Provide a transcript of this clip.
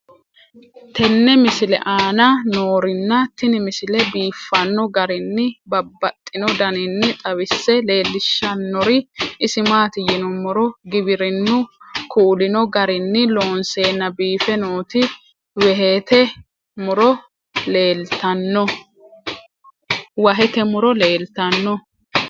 tenne misile aana noorina tini misile biiffanno garinni babaxxinno daniinni xawisse leelishanori isi maati yinummoro giwirinnu kulinno garinni loonseenna biiffe nootti wahette muro leelittanno